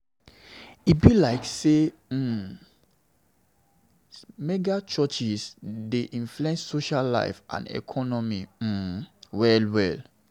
E be like um say mega-churches dey influence social life and economy um well. well.